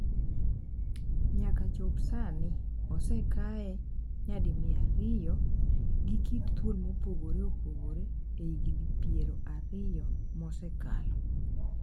Nyaka chop sani, osekae nyadi mia ariyo gi kit thuol mopogore opogore e higni piero ariyo mosekalo